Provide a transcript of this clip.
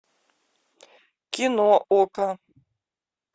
кино окко